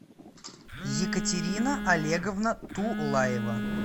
екатерина олеговна тулаева